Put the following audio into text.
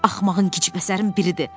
Axmağın, gicipəsərin biridir.